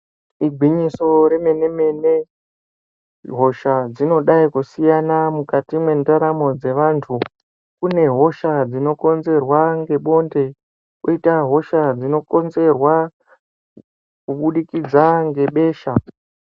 Igwinyiso remenemene hosha dzinodai kusiyana mukati mwendaramo dzevantu kunehosha dzinokonzerwa ngebonde koita hosha dzinokonzerwa kubudikidza ngebesha.